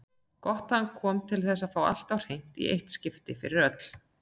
Gott að hann kom til að fá allt á hreint í eitt skipti fyrir öll.